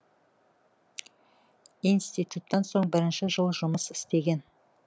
институттан соң бірінші жыл жұмыс істеген